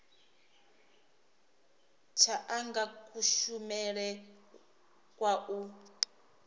tsha anga kushumele kwa u